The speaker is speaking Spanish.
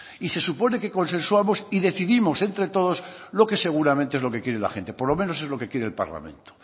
y se supone que consensuamos y decidimos entre todos lo que seguramente es lo que quiere la gente por lo menos es lo que quiere el parlamento